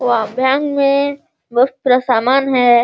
वह भान में बहुत सारा सामान है |